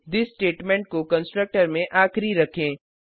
this statement को constructor में आखिरी रखें